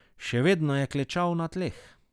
Še vedno je klečal na tleh.